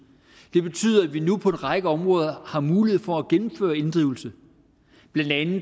det betyder at vi nu på en række områder har mulighed for at gennemføre en inddrivelse blandt andet